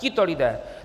Tito lidé!